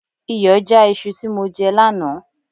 Iyọ já iṣu tí mo jẹ lánàá